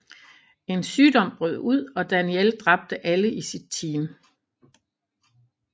En sygdom brød ud og Danielle dræbte alle i sit team